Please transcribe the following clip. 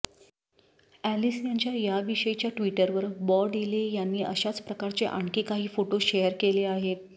Ellis यांच्या याविषयीच्या ट्वीटवर बॉ डीले यांनी अशाच प्रकारचे आणखी काही फोटो शेअर केले आहेत